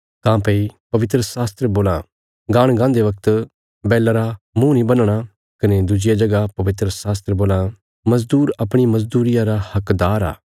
काँह्भई पवित्रशास्त्र बोलां गाहण गाहन्दे वगत बैला रा मुँह नीं बन्हणा कने दुज्जिया जगह पवित्रशास्त्र बोलां मज़दूर अपणी मज़दूरिया रा हकदार आ